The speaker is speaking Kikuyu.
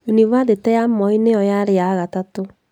Yunibathĩtĩ ya Moi nĩyo yarĩ ya gatatũ